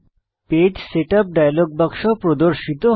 page setup dialogue বাক্স প্রদর্শিত হয়